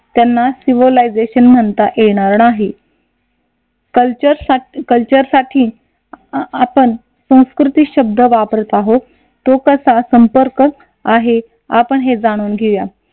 त्यांना सिव्हिलायझेशन म्हणता येणार नाही कल्चरस कल्चरसाठी आपण संस्कृती शब्द वापरत आहोत तो कसा संपर्क आहे आपण हे जाणून घेऊया.